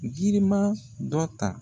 Giriman dɔ ta .